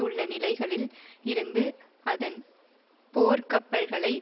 உள்ள நிலைகளில் இருந்து அதன் போர்க் கப்பல்களை